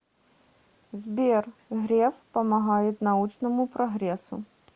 сбер греф помогает научному прогрессу